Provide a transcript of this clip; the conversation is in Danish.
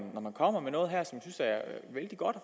kommer med noget her som jeg synes er vældig godt